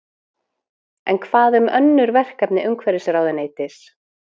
En hvað um önnur verkefni umhverfisráðuneytis?